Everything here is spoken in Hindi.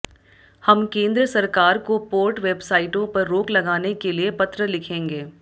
हम केंद्र सरकार को पोर्ट वेबसाइटों पर रोक लगाने के लिए पत्र लिखेंगे